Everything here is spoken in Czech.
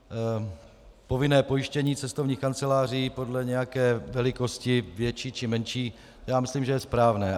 Povinné pojištění cestovních kanceláří podle nějaké velikosti, větší či menší, já myslím, že je správné.